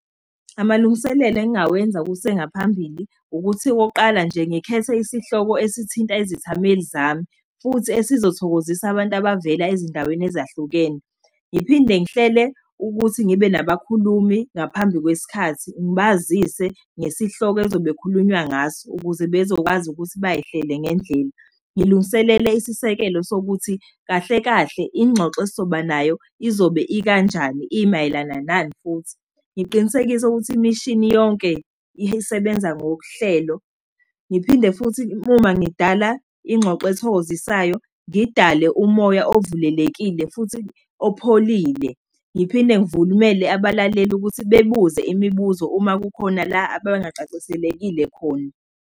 Amalungiselelo engawenza kusengaphambili, ukuthi wokuqala nje ngikhethe isihloko esithinta izithameli zami, futhi esizothokozisa abantu abavela ezindaweni ezahlukene. Ngiphinde ngihlele ukuthi ngibe nabakhulumi ngaphambi kwesikhathi, ngibazise ngesihloko ezobe kukhulunywa ngaso, ukuze bezokwazi ukuthi bayihlele ngendlela. Ngilungiselele isisekelo sokuthi, kahlekahle ingxoxo esizoba nayo izobe ikanjani, imayelana nani futhi? Ngiqinisekise ukuthi imishini yonke isebenza ngokuhlelo. Ngiphinde futhi uma ngidala ingxoxo ethokozisayo, ngidale umoya ovulelekile, futhi opholile. Ngiphinde ngivumele abalaleli ukuthi bebuze imibuzo uma kukhona la ababengacaceselekile khona.